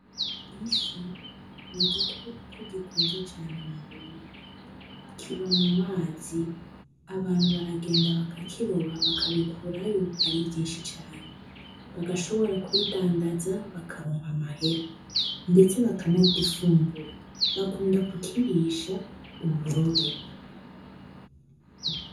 Ifi n'igikoko gikunzwe cane mu Burundi ,kiba mumazi ,abantu baragenda bakakiroba bakabikurayo ari vyinshi cane, bagashobora kubidandaza bakaronka amahera ,ndetse bakanagifungura bakunda kukirisha uburobe.